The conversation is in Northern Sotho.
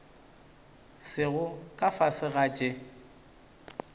sego ka fase ga tše